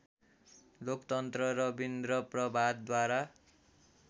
लोकतन्त्र रविन्द्र प्रभातद्वारा